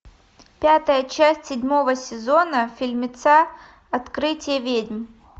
пятая часть седьмого сезона фильмеца открытие ведьм